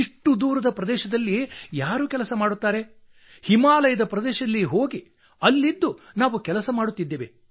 ಇಷ್ಟು ದೂರದ ಪ್ರದೇಶದಲ್ಲಿ ಯಾರು ಕೆಲಸ ಮಾಡುತ್ತಾರೆ ಹಿಮಾಲಯ ಹೋಗಿ ಅಲ್ಲೇ ಇದ್ದು ನಾವು ಕೆಲಸ ಮಾಡುತ್ತಿದ್ದೇವೆ